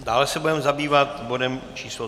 Dále se budeme zabývat bodem číslo